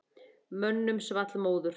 Mönnum svall móður.